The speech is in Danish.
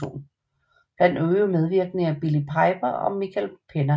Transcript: Blandt øvrige medvirkende er Billie Piper og Michael Pena